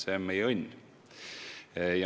See on meie õnn.